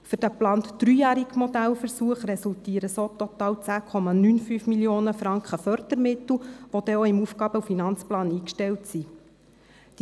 Für den geplanten dreijährigen Modellversuch resultieren so total 10,95 Mio. Franken an Fördermitteln, die auch im Aufgaben- und Finanzplan (AFP) aufgestellt sein werden.